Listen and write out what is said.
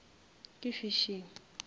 ke fishing